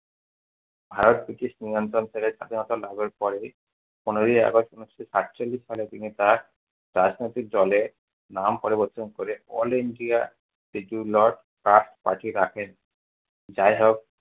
Bharat British নিয়ন্ত্রণ করে স্বাধীনতা লাভের পরেই পনেরোই august ঊনিশশো সাতচল্লিশ সালে তিনি তাঁর রাজনৈতিক দলের নাম পরিবর্তন করে all ইন্ডিয়া trust party রাখেন। যাইহোক